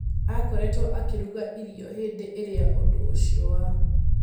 Akoretwo akĩruga irĩo hĩndĩ ĩrĩa ũndũũcio wa